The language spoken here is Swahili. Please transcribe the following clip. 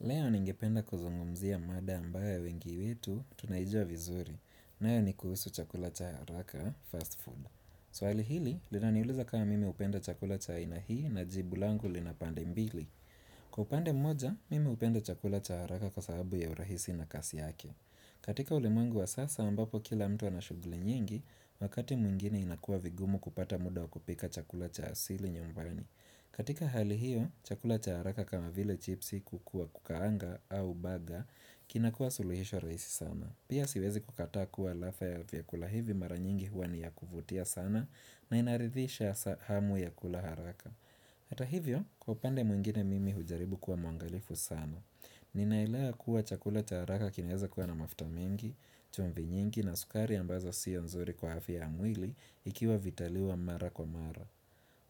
Leo ningependa kuzungumzia mada ambaye wengi wetu tunaijua vizuri, nayo ni kuhusu chakula cha haraka fast food. Swali hili, linaniuliza kawa mimi upenda chakula cha aina hii na jibu langu lina pande mbili. Kwa upande mmoja, mimi upenda chakula cha haraka kwa sababu ya urahisi na kasi yake. Katika ulimwengu wa sasa ambapo kila mtu anashuguli nyingi, wakati mwingine inakua vigumu kupata muda wa kupika chakula cha asili nyumbani. Katika hali hiyo, chakula cha haraka kama vile chipsi kuku wa kukaanga au baga kinakua suluhisho raisi sana. Pia siwezi kukataa kuwa alafa ya viakula hivi mara nyingi hua ni ya kuvutia sana na inaridhisha hamu ya kula haraka. Hata hivyo, kwa upande mwingine mimi hujaribu kuwa mwangalifu sana Ninaelea kuwa chakula cha haraka kineza kuwa na mafta mengi, chumvi nyingi na sukari ambazo siyo nzuri kwa hafia ya mwili ikiwa vitaliwa mara kwa mara